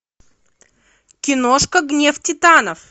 киношка гнев титанов